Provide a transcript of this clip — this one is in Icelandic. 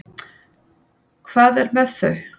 Hvað er með þau?